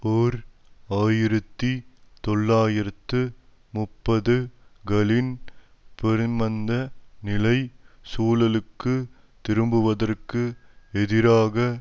ஓர் ஆயிரத்தி தொள்ளாயிரத்து முப்பது களின் பெருமந்த நிலை சூழலுக்கு திரும்புவதற்கு எதிராக